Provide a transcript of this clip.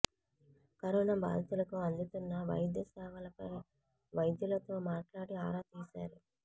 corona బాధితులకు అందుతున్న వైద్య సేవలపై వైద్యులతో మాట్లాడి ఆరా తీశారు